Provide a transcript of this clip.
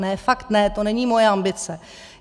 Ne, fakt ne, to není moje ambice.